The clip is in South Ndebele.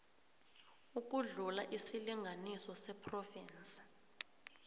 ukudlula isilinganiso sephrovinsi